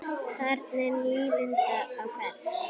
Þarna er nýlunda á ferð.